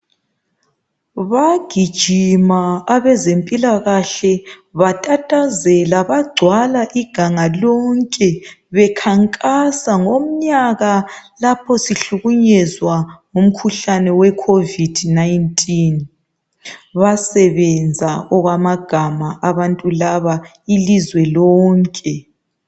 Bagijima abezempilakahle batatazela bagcwala iganga lonke bekhankasa ngomnyaka lapho sihlukunyezwa ngumkhuhlane we COVID-19. Basebenze okwamagama abantu laba ilizwe lonke.